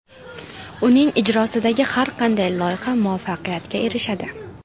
Uning ijrosidagi har qanday loyiha muvaffaqiyatga erishadi.